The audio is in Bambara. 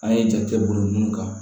An ye jate bolo mun kan